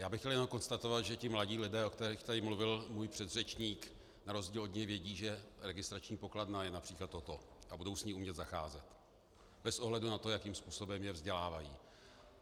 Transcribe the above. Já bych chtěl jenom konstatovat, že ti mladí lidé, o kterých tady mluvil můj předřečník, na rozdíl od něj vědí, že registrační pokladna je například toto a budou s ní umět zacházet bez ohledu na to, jakým způsobem je vzdělávají.